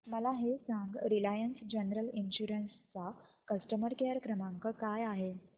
मला हे सांग रिलायन्स जनरल इन्शुरंस चा कस्टमर केअर क्रमांक काय आहे